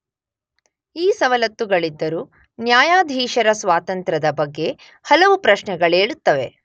ಈ ಸವಲತ್ತುಗಳಿದ್ದರೂ ನ್ಯಾಯಾಧೀಶರ ಸ್ವಾತಂತ್ರದ ಬಗ್ಗೆ ಹಲವು ಪ್ರಶ್ನೆಗಳೇಳುತ್ತವೆ.